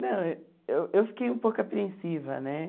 Não, eu eu fiquei um pouco apreensiva, né?